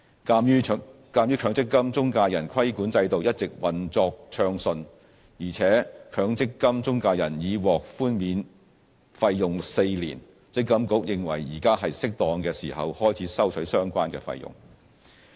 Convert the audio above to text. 鑒於強積金中介人規管制度一直運作暢順，而且強積金中介人已獲寬免費用4年，積金局認為現在是適當時候開始收取相關費用。